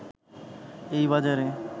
এই বাজারে